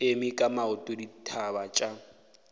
eme ka maoto ditaba tša